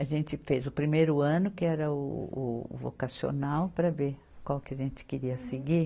A gente fez o primeiro ano, que era o, o vocacional, para ver qual que a gente queria seguir.